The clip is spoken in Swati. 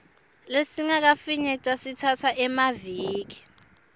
lesingakafinyetwa sitsatsa emaviki